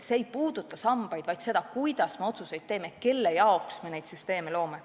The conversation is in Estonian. Asi pole sammastes, vaid selles, kuidas me otsuseid teeme, kelle jaoks me neid süsteeme loome.